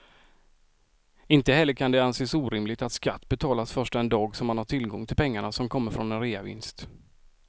Inte heller kan det anses orimligt att skatt betalas först den dag som man har tillgång till pengarna som kommer från en reavinst.